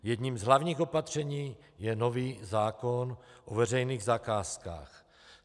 Jedním z hlavních opatření je nový zákon o veřejných zakázkách.